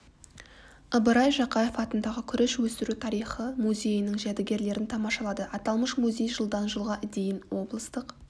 ыбырай жақаев атындағы күріш өсіру тарихы музейінің жәдігерлерін тамашалады аталмыш музей жылдан жылға дейін облыстық